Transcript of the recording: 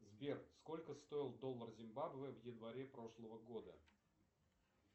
сбер сколько стоил доллар зимбабве в январе прошлого года